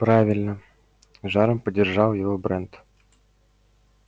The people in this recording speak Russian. правильно с жаром поддержал его брент